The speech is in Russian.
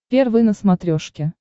первый на смотрешке